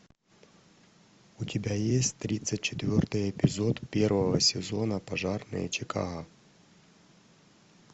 у тебя есть тридцать четвертый эпизод первого сезона пожарные чикаго